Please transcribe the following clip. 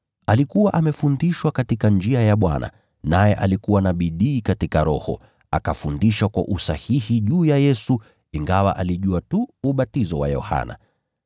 Alikuwa amefundishwa katika njia ya Bwana, naye alikuwa na bidii katika roho, akafundisha kwa usahihi juu ya Yesu, ingawa alijua tu ubatizo wa Yohana.